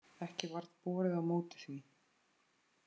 Ekki varð borið á móti því.